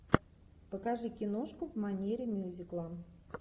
покажи киношку в манере мюзикла